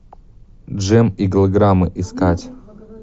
джем и голограммы искать